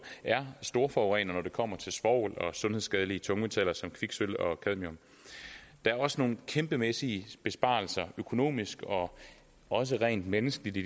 storforurener når det kommer til svovl og sundhedsskadelige tungmetaller som kviksølv og cadmium der er også nogle kæmpemæssige besparelser økonomisk og også rent menneskeligt i